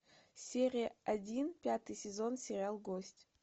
серия один пятый сезон сериал гость